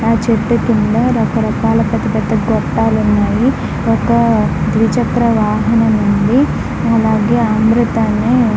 ఆ చెట్టు కింద రకరకాల పెద్ద పెద్ద గొట్టాలు ఉన్నాయి. ఒక ద్విచక్ర వాహనం ఉంది. అలాగే అందరూ దాన్ని--